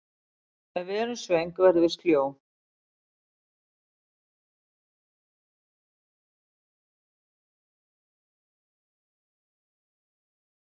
ef við erum svöng verðum við sljó